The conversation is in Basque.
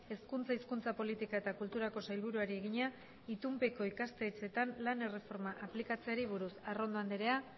hezkuntza hizkuntza politika eta kulturako sailburuari egina itunpeko ikastetxeetan lan erreforma aplikatzeari buruz arrondo andrea